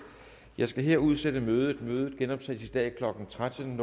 jeg skal her udsætte mødet mødet genoptages i dag klokken tretten